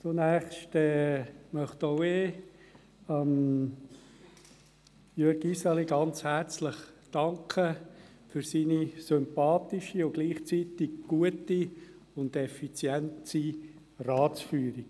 Zunächst möchte auch ich Jürg Iseli sehr herzlich danken für seine sympathische und gleichzeitig gute und effiziente Ratsführung.